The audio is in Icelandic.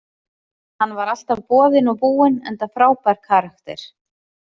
Hann var alltaf boðinn og búinn enda frábær karakter.